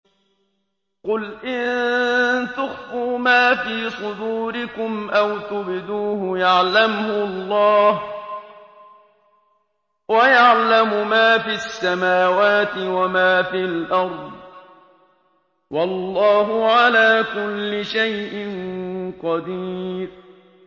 قُلْ إِن تُخْفُوا مَا فِي صُدُورِكُمْ أَوْ تُبْدُوهُ يَعْلَمْهُ اللَّهُ ۗ وَيَعْلَمُ مَا فِي السَّمَاوَاتِ وَمَا فِي الْأَرْضِ ۗ وَاللَّهُ عَلَىٰ كُلِّ شَيْءٍ قَدِيرٌ